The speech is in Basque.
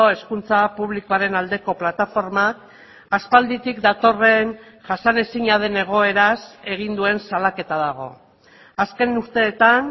hezkuntza publikoaren aldeko plataformak aspalditik datorren jasanezina den egoeraz egin duen salaketa dago azken urteetan